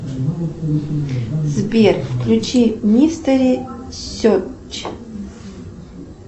сбер включи мистери серчь